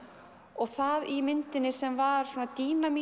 og það í myndinni sem var svona